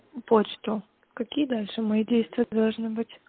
почту какие дальше мои действия должны быть